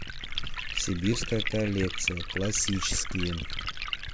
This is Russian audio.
сибирская коллекция классические